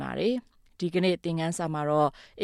ပါတယ်။ ဒီသင်ခန်းစာမှာတော့ အ